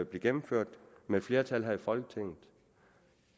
blive gennemført med et flertal her i folketinget